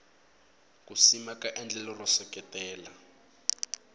ku simeka endlelo ro seketela